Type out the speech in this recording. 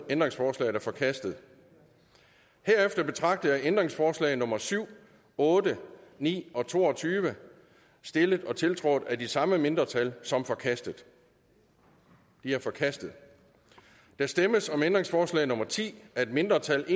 ændringsforslaget er forkastet herefter betragter jeg ændringsforslag nummer syv otte ni og to og tyve stillet og tiltrådt af de samme mindretal som forkastet de er forkastet der stemmes om ændringsforslag nummer ti af et mindretal